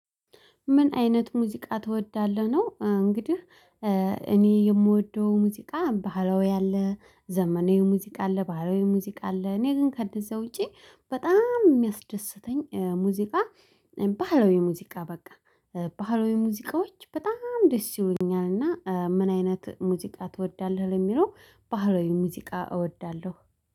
ምን አይነት ሙዚቃ ትወዳለህ ነው እንግዲህ እኔ የምወደው ሙዚቃ ባህላዊ ያለ ዘመኔው ሙዚቃ አለ ባህላዊው ሙዚቃ አለ እኔ ግን ከንደዛ ውጪ በጣም የሚያስደስተኝ ሙዚቃ ባህላዊ ሙዚቃ በቃ ባህላዊ ሙዚቃዎች በጣም ደስ ይሉኛል። እና ምን አይነት ሙዚቃ ትወዳለህ? ለሚለው ባህላዊ ሙዚቃ እወዳለሁ።